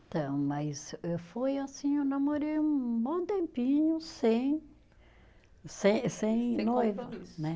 Então, mas foi assim, eu namorei um bom tempinho sem sem sem